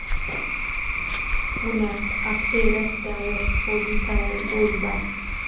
पुण्यात आपटे रस्त्यावर पोलिसावर गोळीबार